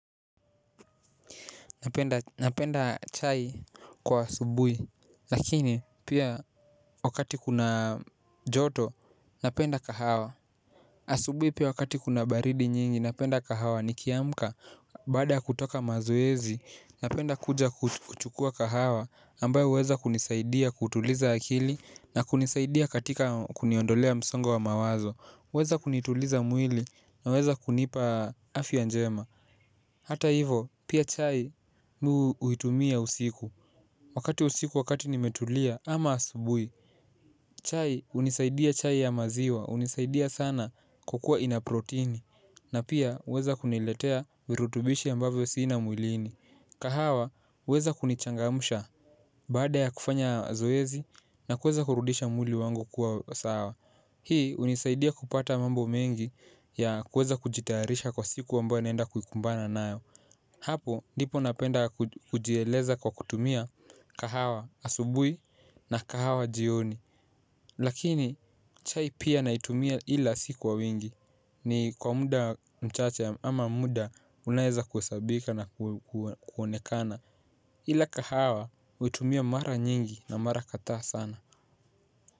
Napenda chai kwa asubuhi. Lakini pia wakati kuna joto napenda kahawa. Asubuhi pia wakati kuna baridi nyingi napenda kahawa nikiamka. Baada ya kutoka mazoezi napenda kuja kuchukua kahawa ambayo huweza kunisaidia kutuliza akili na kunisaidia katika kuniondolea msongo wa mawazo. Huweza kunituliza mwili, unaweza kunipa afya njema. Hata hivyo pia chai huitumia usiku. Wakati wa usiku wakati nimetulia ama asubuhi chai hunisaidia, chai ya maziwa hunisaidia sana kwa kuwa ina protini. Na pia huweza kuniletea virutubishi ambavyo sina mwilini. Kahawa huweza kunichangamsha baada ya kufanya zoezi na kuweza kurudisha mwili wangu kuwa sawa. Hii hunisaidia kupata mambo mengi ya kuweza kujitayarisha kwa siku ambayo naenda kukumbana nayo hapo ndipo napenda kujieleza kwa kutumia kahawa asubuhi na kahawa jioni lakini chai pia naitumia ila si kwa wingi ni kwa muda mchache ama muda unaoweza kuhesabika na kuonekana ila kahawa huitumia mara nyingi na mara kadhaa sana.